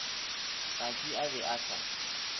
saki a be a sa